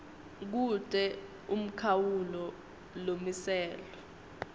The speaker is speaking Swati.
kute umkhawulo lomiselwe